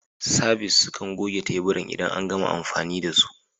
Sabis sukan goge teburan idan an gama amfani da su.